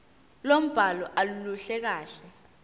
lombhalo aluluhle kahle